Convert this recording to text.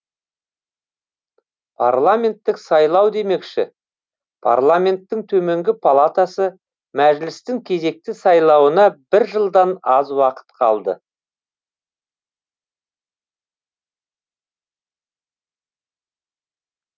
парламенттік сайлау демекші парламенттің төменгі палатасы мәжілістің кезекті сайлауына бір жылдан аз уақыт қалды